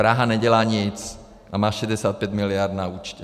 Praha nedělá nic a má 65 miliard na účtě.